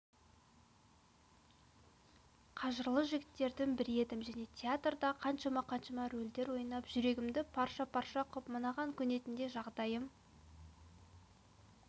қажырлы жігіттердің бірі едім және театрда қаншама-қаншама рөлдер ойнадым жүрегімді парша-парша қып мынаған көнетіндей жағдайым